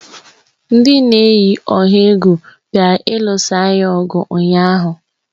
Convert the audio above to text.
Ndị na-eyi ọha egwu bịara ịlụsa anyị ọgụ ụnyaahụ.